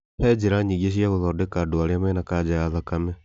He njĩra nyingi cia gũthondeka andũ arĩa mena kanja ya thakame